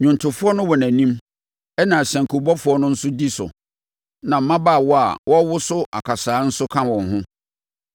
Nnwontofoɔ no wɔ animu, ɛnna asankubɔfoɔ no nso di so, na mmabaawa a wɔrewoso akasaeɛ nso ka wɔn ho.